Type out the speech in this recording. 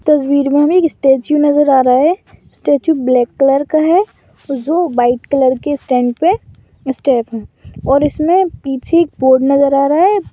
तस्वीर में हमें एक स्टैचू नजर आ रहा है। स्टैचू ब्लैक कलर का है जो वाइट कलर के स्टैंड पे स्टेप है और इसमें पीछे एक बोर्ड नजर आ रहा है।